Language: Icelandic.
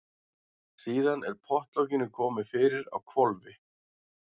Síðan er pottlokinu komið fyrir á hvolfi.